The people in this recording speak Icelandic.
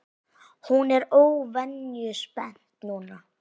Hún er óvenju spennt núna.